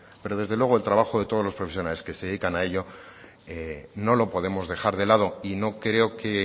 pero desde luego todo el trabajo de los profesionales que se dedican a ello no lo podemos dejar de lado y no creo que